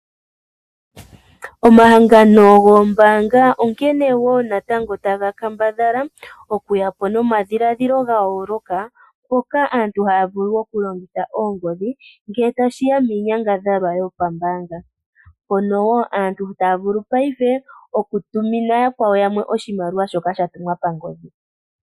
Omahangano goombaanga onkene wo natango taga kambadhala okuya po nomadhiladhilo ga yooloka, mpoka aantu haya vulu okulongitha oongodhi ngele tashi ya miinyangadhalwa yopambaanga. Mpono wo aantu taya vulu paife okutumina yakwawo yamwe oshimaliwa shoka sha tumwa pangodhi.